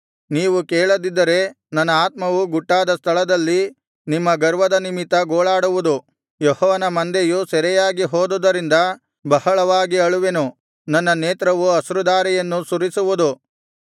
ನೀವು ಕೇಳದಿದ್ದರೆ ನನ್ನ ಆತ್ಮವು ಗುಟ್ಟಾದ ಸ್ಥಳದಲ್ಲಿ ನಿಮ್ಮ ಗರ್ವದ ನಿಮಿತ್ತ ಗೋಳಾಡುವುದು ಯೆಹೋವನ ಮಂದೆಯು ಸೆರೆಯಾಗಿ ಹೋದುದರಿಂದ ಬಹಳವಾಗಿ ಅಳುವೆನು ನನ್ನ ನೇತ್ರವು ಅಶ್ರುಧಾರೆಯನ್ನು ಸುರಿಸುವುದು